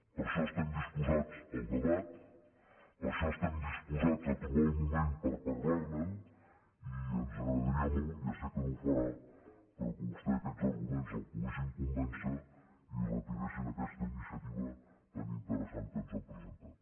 per això estem disposats al debat per això estem disposats a trobar el moment per parlar ne i ens agradaria molt ja sé que no ho farà però que a vostè aquests arguments el poguessin convèncer i retiressin aquesta iniciativa tan interessant que ens han presentat